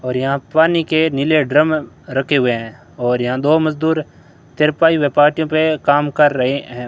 और यहां पानी के नीले ड्रम रखे हुए हैं और यहां दो मजदूर चारपाई में पार्टियों पर काम कर रहे हैं।